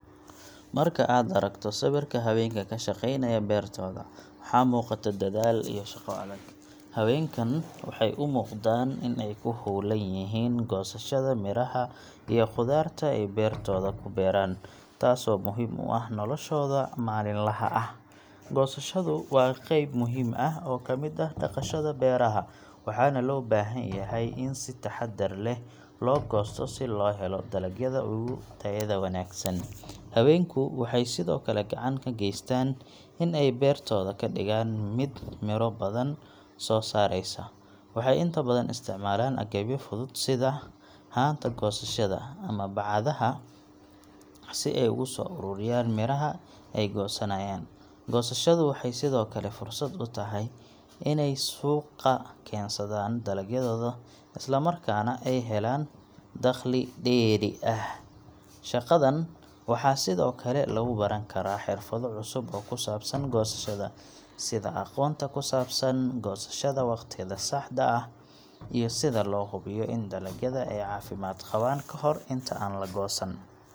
Marka aad aragto sawirka haweenka ku shaqeynaya beertooda, waxaa muuqata dadaal iyo shaqo adag. Haweenkan waxay u muuqdaan inay ku hawlan yihiin goosashada miraha ama khudaarta ay beertooda ku beeran, taasoo muhiim u ah noloshooda maalinlaha ah. Goosashadu waa qeyb muhiim ah oo ka mid ah dhaqashada beeraha, waxaana loo baahan yahay in si taxaddar leh loo goosto si loo helo dalagyada ugu tayada wanaagsan. Haweenku waxay sidoo kale gacan ka geystaan in ay beertooda ka dhigaan mid miro badan soo saaraysa. Waxay inta badan isticmaalaan agabyo fudud sida haanta goosashada ama bacadaha si ay ugu soo ururiyaan miraha ay goosanayaan. Goosashadu waxay sidoo kale fursad u tahay inay suuqa keensadaan dalagyadooda, isla markaana helaan dakhli dheeri ah. Shaqadan waxaa sidoo kale lagu baran karaa xirfado cusub oo ku saabsan goosashada, sida aqoonta ku saabsan goosashada waqtiga saxda ah, iyo sida loo hubiyo in dalagyada ay caafimaad qabaan ka hor inta aan la goosan.